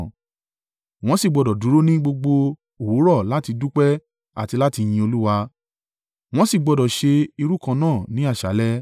Wọ́n sì gbọdọ̀ dúró ní gbogbo òwúrọ̀ láti dúpẹ́ àti láti yin Olúwa. Wọ́n sì gbọdọ̀ ṣe irú kan náà ní àṣálẹ́.